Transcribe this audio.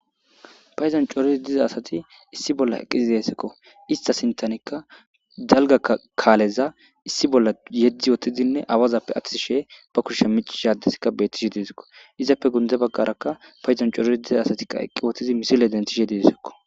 Payizon corizi diza asati issi bolla eqqizi desikko ista sintanikka dalga kaaleza issi bolla yeddi ootidinne awazappe aththi shee ba kushshe micishadeskka bettishe didisikko izappe gunde baggarakka payizan corizi diza asatikka eqqi wotidi misile dentishe didisokko.